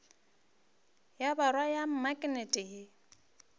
ya borwa ya maknete ye